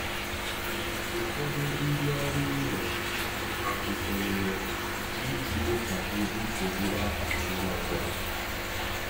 Ụfọdụ ndị ọrụ ụlọ akụ sonyere iji kpochapụ nsogbu ahụ ngwa ngwa.